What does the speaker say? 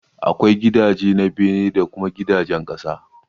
Akwai gidajen na bene da kuma gidajen ƙasa.